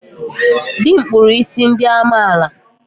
Dị m kpụrụ isi ndị amaala.